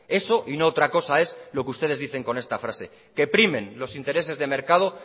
eso y no otra cosa es lo que ustedes dicen con esta frase que primen los intereses de mercado